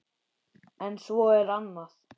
En svo er annað.